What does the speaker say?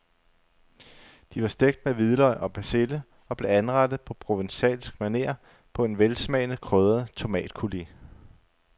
De var stegt med hvidløg og persille og blev anrettet på provencalsk maner på en velsmagende krydret tomatcoulis.